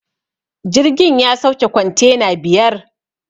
Jirgin ya sauke kwantena biyar